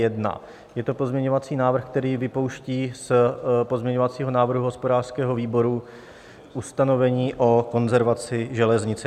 Je to pozměňovací návrh, který vypouští z pozměňovacího návrhu hospodářského výboru ustanovení o konzervaci železnice.